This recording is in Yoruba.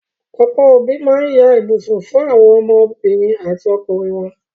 Ọ̀pọ́ òbí ma ń ya ibùsùn fún àwọn ọmọ obìnrin àti ọkùnrin wọn.